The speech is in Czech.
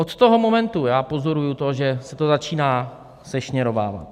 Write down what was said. Od toho momentu já pozoruji to, že se to začíná sešněrovávat.